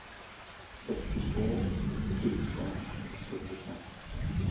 sextiotvå tusen sjuttiofem